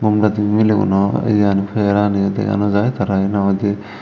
obladi mileguno yan pegeranio dega naw jaai tarayo hinaw hodey.